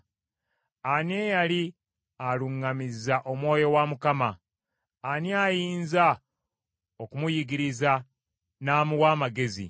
Ani eyali aluŋŋamizza Omwoyo wa Mukama ? Ani ayinza okumuyigiriza n’amuwa amagezi?